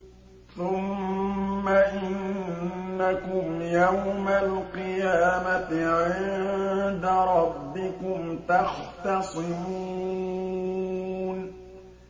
ثُمَّ إِنَّكُمْ يَوْمَ الْقِيَامَةِ عِندَ رَبِّكُمْ تَخْتَصِمُونَ